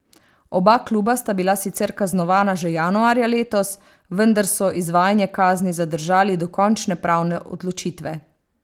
Oba kluba sta bila sicer kaznovana že januarja letos, vendar so izvajanje kazni zadržali do končne pravne odločitve.